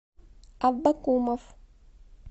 аббакумов